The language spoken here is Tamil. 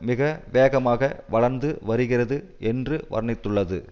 மிக வேகமாக வளர்ந்து வருகிறது என்று வர்ணித்துள்ளது